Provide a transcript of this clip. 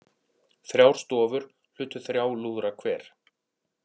Þrjár stofur hlutu þrjá lúðra hver